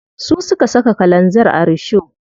Su suka saka kalanzir a risho.